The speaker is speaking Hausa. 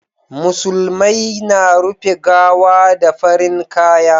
musulmai na rufe gawa da farin kaya